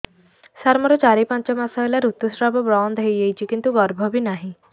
ସାର ମୋର ଚାରି ପାଞ୍ଚ ମାସ ହେଲା ଋତୁସ୍ରାବ ବନ୍ଦ ହେଇଯାଇଛି କିନ୍ତୁ ଗର୍ଭ ବି ନାହିଁ